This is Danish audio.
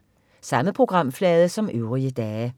Samme programflade som øvrige dage